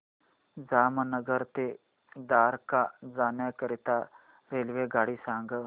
जामनगर ते द्वारका जाण्याकरीता रेल्वेगाडी सांग